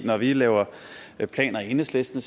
når vi laver planer i enhedslisten